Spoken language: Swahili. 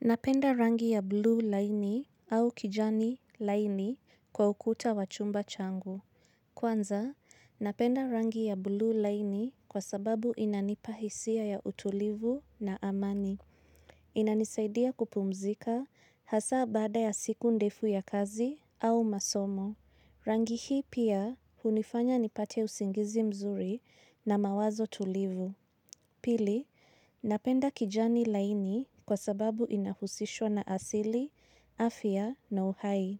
Napenda rangi ya bluu laini au kijani laini kwa ukuta wa chumba changu. Kwanza, napenda rangi ya bluu liainj kwa sababu inanipa hisia ya utulivu na amani. Inanisaidia kupumzika hasa bada ya siku ndefu ya kazi au masomo. Rangi hii pia hunifanya nipate usingizi mzuri na mawazo tulivu. Pili, napenda kijani laini kwa sababu inahusishwa na asili, afya na uhai.